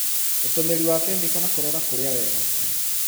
ũtũmĩri wa kemiko na kũrora kũria wega